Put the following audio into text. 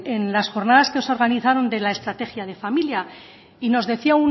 en las jornadas que se organizaron de la estrategia de familia y nos decía